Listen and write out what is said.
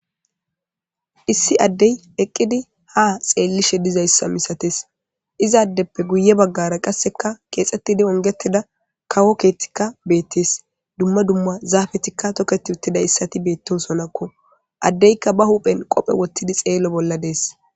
issi addey eqqidi ha xeellishe dizayssa misates izaaddeppe guye baggara qasseka keexettidi ongetida kawo keethtikka beettes dumma dumma zaafetikka toketi uttida issati beettosonakko addeykka ba huphen qophe wottidi xeelo bolla dees